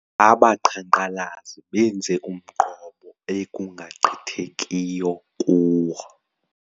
Abaqhankqalazi benze umqobo ekungagqithekiyo kuwo.